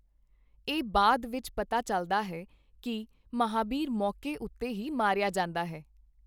ਇਹ ਬਾਅਦ ਵਿੱਚ ਪਤਾ ਚੱਲਦਾ ਹੈ ਕਿ ਮਹਾਬੀਰ ਮੌਕੇ ਉੱਤੇ ਹੀ ਮਾਰਿਆ ਜਾਂਦਾ ਹੈ।